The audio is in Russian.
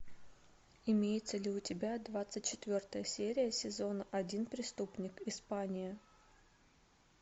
имеется ли у тебя двадцать четвертая серия сезон один преступник испания